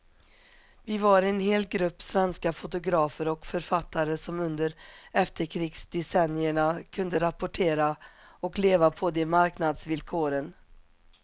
Vi var en hel grupp svenska fotografer och författare som under efterkrigsdecennierna kunde rapportera och leva på de marknadsvillkoren.